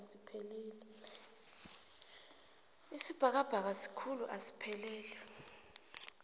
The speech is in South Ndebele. isibhakabhaka sikhulu asipheleli